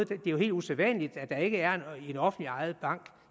det er jo helt usædvanligt at der ikke er en offentligt ejet bank